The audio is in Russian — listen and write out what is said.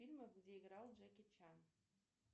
фильмы где играл джеки чан